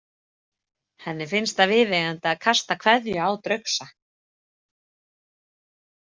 Henni finnst það viðeigandi að kasta kveðju á draugsa.